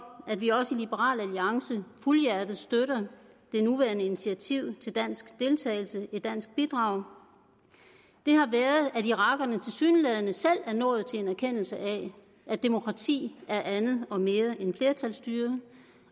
at vi også i liberal alliance fuldhjertet støtter det nuværende initiativ til dansk deltagelse et dansk bidrag at irakerne tilsyneladende selv er nået til en erkendelse af at demokrati er andet og mere end flertalsstyre